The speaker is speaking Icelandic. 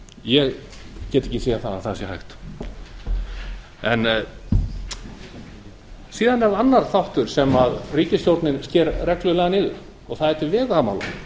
ég get ekki séð að það sé hægt loks er annar þáttur sem ríkisstjórnin sker reglulega niður og það er til vegamála